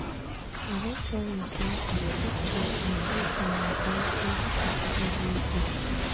I don tell you sey I dey take time reflect on my blessing everyday.